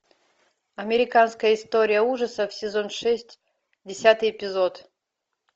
американская история ужасов сезон шесть десятый эпизод